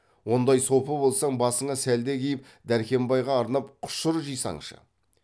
ондай сопы болсаң басыңа сәлде киіп дәркембайға арнап құшыр жисаңшы